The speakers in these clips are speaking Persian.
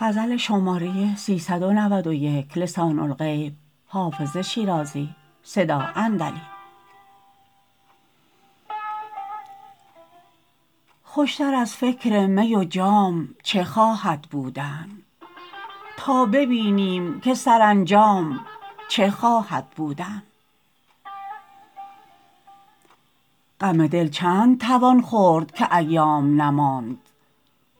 خوش تر از فکر می و جام چه خواهد بودن تا ببینم که سرانجام چه خواهد بودن غم دل چند توان خورد که ایام نماند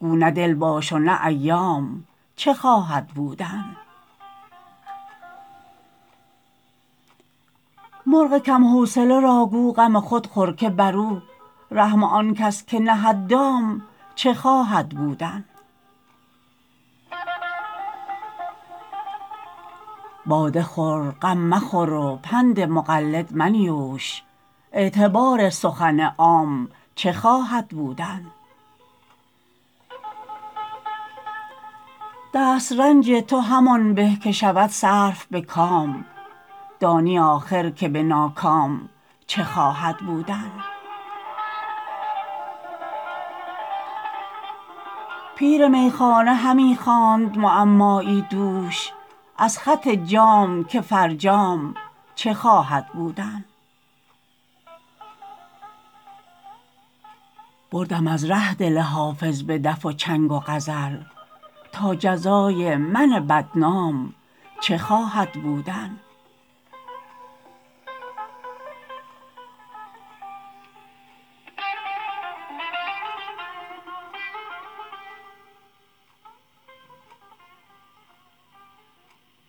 گو نه دل باش و نه ایام چه خواهد بودن مرغ کم حوصله را گو غم خود خور که بر او رحم آن کس که نهد دام چه خواهد بودن باده خور غم مخور و پند مقلد منیوش اعتبار سخن عام چه خواهد بودن دست رنج تو همان به که شود صرف به کام دانی آخر که به ناکام چه خواهد بودن پیر میخانه همی خواند معمایی دوش از خط جام که فرجام چه خواهد بودن بردم از ره دل حافظ به دف و چنگ و غزل تا جزای من بدنام چه خواهد بودن